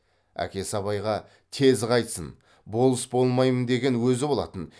әкесі абайға тез қайтсын болыс болмаймын деген өзі болатын